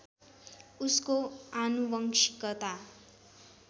उसको आनुवंशिकता